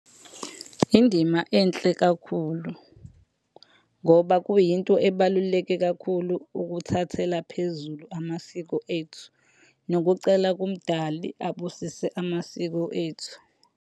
Indima enhle kakhulu ngoba kuyinto ebaluleke kakhulu ukuthathela phezulu amasiko ethu. Nokucela kumdali abusise amasiko ethu.